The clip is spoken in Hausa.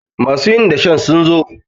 masu yin dashen zo iya!